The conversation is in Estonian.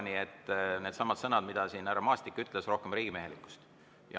Nii et needsamad sõnad, mida siin härra Maastik ütles: rohkem riigimehelikkust.